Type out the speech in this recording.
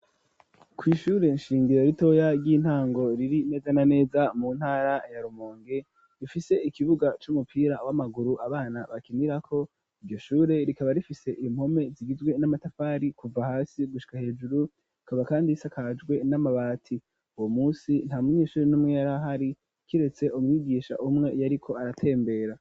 kw’ishure nshingiro ritoya ry'intango riri neza na neza mu ntara ya Rumonge rifise ikibuga c'umupira w'amaguru abana bakinirako iryo shure rikaba rifise impome zigizwe n'amatafari kuva hasi gushika hejuru rikaba kandi risakajwe n'amabati uwo munsi ntamunyeshuri n'umwe yari ahari kiretse umwigisha umwe yariko aratembera.